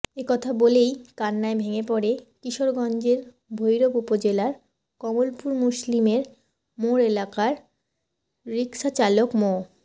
এ কথা বলেই কান্নায় ভেঙে পড়ে কিশোরগঞ্জের ভৈরব উপজেলার কমলপুর মুসলিমের মোড় এলাকার রিকশাচালক মো